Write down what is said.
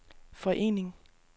forening